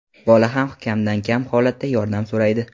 Bola ham kamdan-kam holatda yordam so‘raydi.